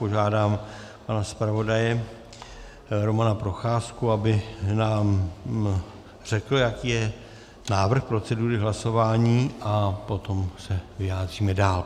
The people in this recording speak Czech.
Požádám pana zpravodaje Romana Procházku, aby nám řekl, jaký je návrh procedury hlasování, a potom se vyjádříme dál.